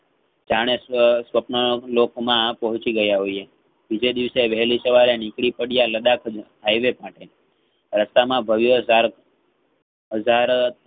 જાણે સ્વ~સ્વપ્ન લોકમાં પહોંચે ગયા હોઈએ જેદિવસે વહેલી સવારે નીકળીપડયા લડાખ માં highway રસ્તામાં ભવ્ય ઝાડ ઝાડ